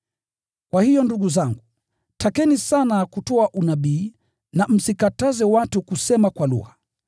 Kwa hiyo ndugu zangu, takeni sana kutoa unabii na msikataze watu kusema kwa lugha.